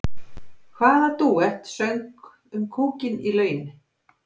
Hvaða dúett söng um kúkinn í lauginni?